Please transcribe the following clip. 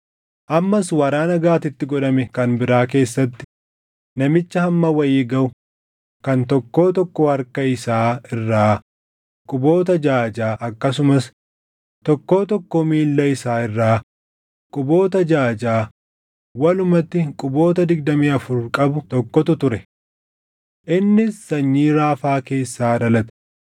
Ammas waraana Gaatitti godhame kan biraa keessatti namicha hamma wayii gaʼu kan tokkoo tokkoo harka isaa irraa quboota jaʼa jaʼa akkasumas tokkoo tokkoo miilla isaa irraa quboota jaʼa jaʼa walumatti quboota digdamii afur qabu tokkotu ture. Innis sanyii Raafaa keessaa dhalate.